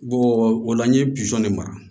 o la n ye de mara